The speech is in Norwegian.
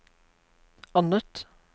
annet